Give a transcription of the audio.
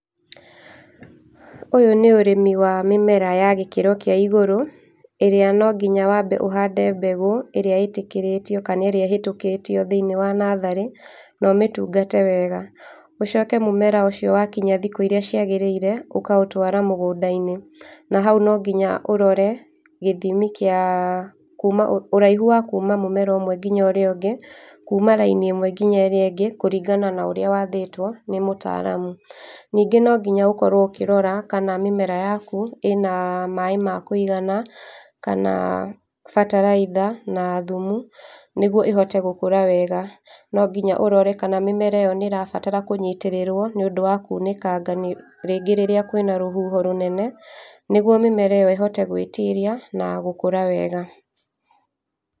Ũyũ nĩ ũrĩmi wa mĩmera ya gĩkĩro kĩa igũrũ, ĩrĩa nonginya wambe ũhande mbegũ ĩrĩa ĩtĩkĩrĩtio kana ĩrĩa ĩhetũkĩtio thĩini wa natharĩ na ũmĩtũngate wega. Ũcoke mũmera ũcio wakinya thikũ irĩa ciagĩrĩire ũkaũtwara mũgũnda-inĩ. Na haũ nonginya ũrore gĩthimi kĩa, kũma ũraihũ wa kũma mũmera ũmwe nginya ũrĩa ũngĩ, kũma raini ĩmwe nginya ĩrĩa ĩngĩ, kũringana na ũrĩa wathĩtwo nĩ mũtaramũ. Ningĩ nonginya ũkorwo ũkĩrora kana mĩmera yakũ ĩna maĩ ma kũigana kana ferterlizer na thũmũ, nĩgũo ĩhote gũkũra wega. Nongina ũrore kana mĩmera nĩĩrabatara kũnyitĩrĩrũo nĩũndũ wa kũũnĩkanga nĩũ, rĩngĩ rĩrĩa kwĩna rĩhũho rũnene, nĩgũo mĩmera ĩyo ĩhote gwĩtiria na gũkũra wega